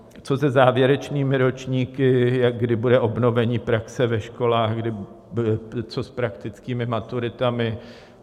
Co se závěrečnými ročníky, kdy bude obnovení praxe ve školách, co s praktickými maturitami?